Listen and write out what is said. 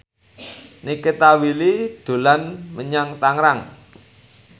Nikita Willy dolan menyang Tangerang